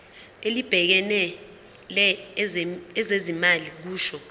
elibhekele ezezimali kusho